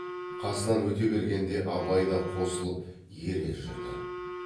қасынан өте бергенде абай да қосылып ере жүрді